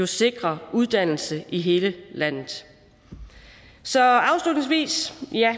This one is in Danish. sikrer uddannelse i hele landet så afslutningsvis vil jeg